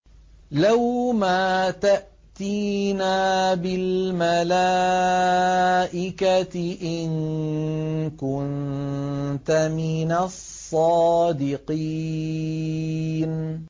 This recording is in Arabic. لَّوْ مَا تَأْتِينَا بِالْمَلَائِكَةِ إِن كُنتَ مِنَ الصَّادِقِينَ